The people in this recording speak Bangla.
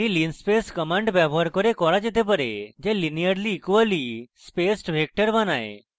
এই linspace linspace command দ্বারা করা যেতে পারে যা linearly equally spaced vector বানায়